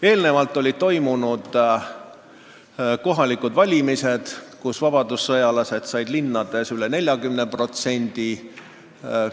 Eelnevalt olid toimunud kohalikud valimised, kus vabadussõjalased said linnades üle 40% häältest.